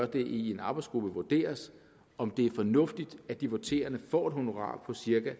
det i en arbejdsgruppe vurderes om det er fornuftigt at de voterende får et honorar på cirka